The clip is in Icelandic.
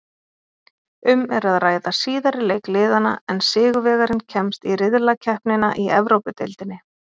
Um er að ræða síðari leik liðanna en sigurvegarinn kemst í riðlakeppnina í Evrópudeildinni.